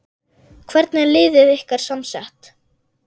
Hvernig er liðið ykkar samsett?